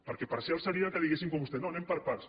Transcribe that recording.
perquè parcial seria que diguessin com vostè no anem per parts